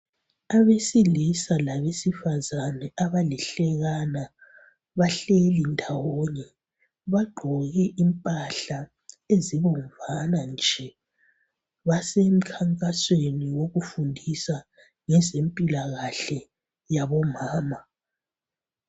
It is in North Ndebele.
Abesilisa labesifazana abalihlekana bahleli ndawonye . Bagqoke impahla ezibomvana nje. Basemkhankasweni wokufundisa ngezempilakahle yabomama.